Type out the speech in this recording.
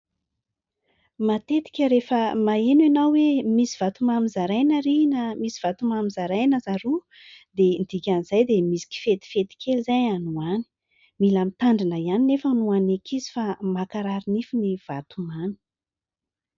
Matetika rehefa maheno ianao hoe misy vatomamy zaraina ary na misy vatomamy zaraina zaroa dia ny dikan'izay dia misy kifetifety kely izay any ho any. Mila mitandrina ihany nefa ho an'ny ankizy fa mankarary nify ny vatomany.